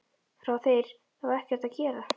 Fá þeir þá ekkert að gera?